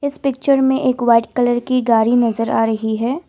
Picture में एक white colour की गाड़ी नजर आ रही है।